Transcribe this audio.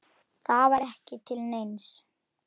Næring og heilsa.